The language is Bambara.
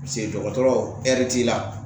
dɔgɔtɔrɔ t'i la